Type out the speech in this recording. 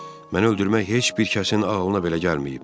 Məni öldürmək heç bir kəsin ağlına belə gəlməyib.